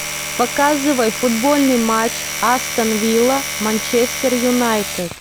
показывай футбольный матч астон вилла манчестер юнайтед